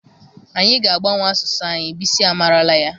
Anyị ga-agbanwe asụsụ anyị, Bisi a marala ya.